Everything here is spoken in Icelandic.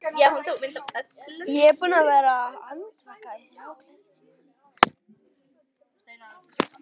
Ég er búinn að vera andvaka í þrjá klukkutíma.